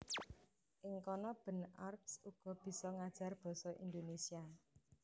Ing kana Ben Arps uga bisa ngajar basa Indonesia